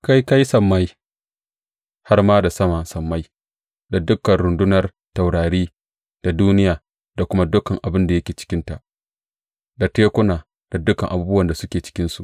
Kai ka yi sammai, har ma da sama sammai, da dukan rundunar taurari, da duniya da kuma dukan abin da yake cikinta, da tekuna da dukan abubuwan da suke cikinsu.